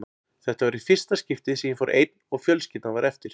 Þetta var í fyrsta skiptið sem ég fór einn og fjölskyldan var eftir.